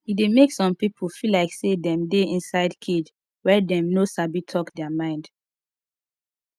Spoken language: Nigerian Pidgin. e de make some pipo feel like say dem de inside cage when dem no sabi talk their mind